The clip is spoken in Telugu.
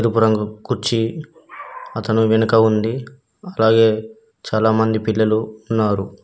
ఎరుపు రంగు కుర్చీ అతను వెనుక ఉంది అలాగే చాలామంది పిల్లలు ఉన్నారు.